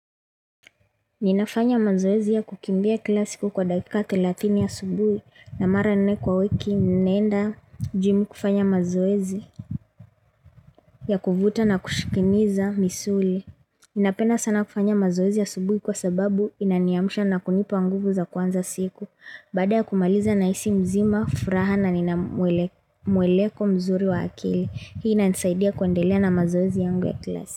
Ninafanya mazoezi ya kukimbia kila siku kwa dakika thelathini asubui na mara nne kwa wiki nenda jimu kufanya mazoezi ya kuvuta na kushikiniza misuli. Nina penda sana kufanya mazoezi ya asubuhi kwa sababu inaniamusha na kunipa nguvu za kuanza siku. Baada ya kumaliza na hisi mzima, furaha na ninamueleko mzuri wa akili. Hii inanisaidia kuendelia na mazoezi yangu ya kila siku.